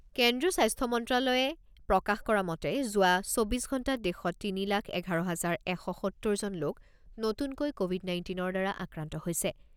কেন্দ্ৰীয় স্বাস্থ্য মন্ত্ৰ্যালয়ে প্ৰকাশ কৰা মতে যোৱা চৌব্বিছ ঘণ্টাত দেশত তিনি লাখ এঘাৰ হাজাৰ এশ সত্তৰজন লোক নতুনকৈ ক'ভিড নাইণ্টিনৰ দ্বাৰা আক্ৰান্ত হৈছে।